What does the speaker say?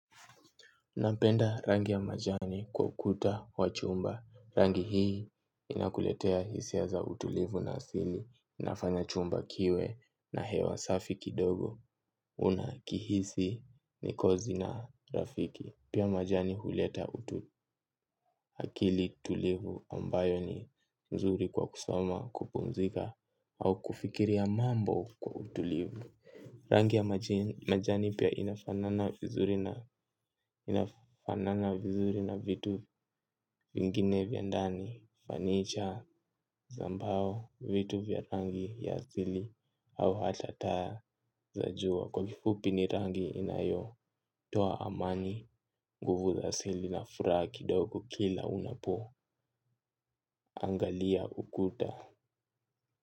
Napenda rangi ya majani kwa ukuta wa chumba. Rangi hii inakuletea hisia za utulivu na asili. Inafanya chumba kiwe na hewa safi kidogo. Una kihisi ni kozi na rafiki. Pia majani huleta utu akili tulivu ambayo ni nzuri kwa kusoma kupumzika au kufikiria mambo kwa utulivu. Rangi ya majani pia inafanana vizuri na vitu vingine vyandani fanicha za mbao vitu vya rangi ya asili au hata taa za jua kwa kifupi ni rangi inayo toa amani nguvu za asili na furaha kidogo kila unapo angalia ukuta.